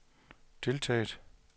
deltaget